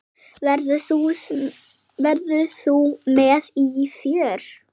Verður þú með í för?